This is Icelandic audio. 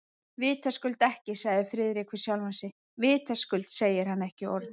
Vitaskuld ekki, sagði Friðrik við sjálfan sig, vitaskuld segir hann ekki orð.